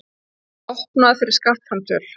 Opnað fyrir skattframtöl